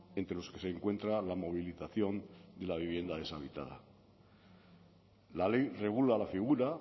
entre los que se encuentra la movilización de la vivienda deshabitada la ley regula la figura